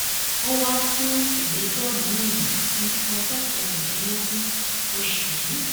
ó wáá sun ìgbẹjọ miín sí ọjọ kẹrìndínlógún oṣù yìí